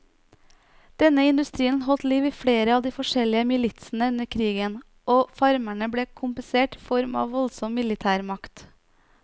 Denne industrien holdt liv i flere av de forskjellige militsene under krigen, og farmerne ble kompensert i form av voldsom militærmakt.